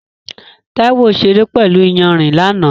Taiwo ṣeré pẹ̀lú iyanrìn lánàá.